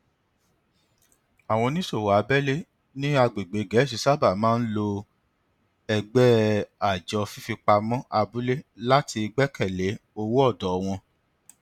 àwọn oníṣòwò abẹlé ní agbègbè gẹẹsi sábà máa ń lo ẹgbẹ àjọ fífipamọ abúlé láti gbẹkẹ lé owó ọdọ wọn